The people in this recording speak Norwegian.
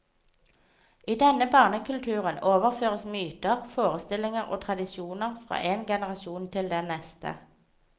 I denne barnekulturen overføres myter, forestillinger og tradisjoner fra en generasjon til den neste.